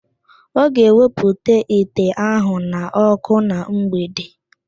Ọ ga-ewepụta ite ahụ n'okụ na mgbede